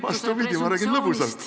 Vastupidi, ma räägin lõbusalt.